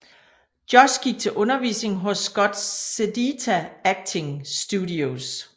Josh gik til undervisning hos Scott Sedita Acting Studios